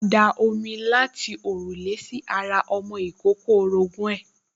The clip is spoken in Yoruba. wọ́n da omi láti òrùlé sí ara ọmọ ìkókó orogún ẹ̀